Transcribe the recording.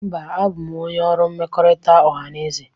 Mba, abụ m onye ọrụ mmekọrịta ọhaneze.